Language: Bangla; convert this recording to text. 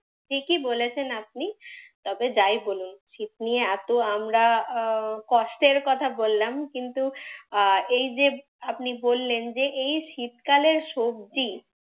ঠিকই বলেছেন আপনি। তবে যাই বলুন শীত নিয়ে এতো আমরা আহ কষ্টের কথা বললাম কিন্তু আহ এই যে আপনি বললেন যে এই শীতকালের সবজি,